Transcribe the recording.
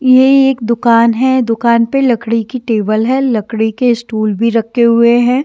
ये एक दुकान है दुकान पर लकड़ी की टेबल है लकड़ी के स्टूल भी रखे हुए हैं।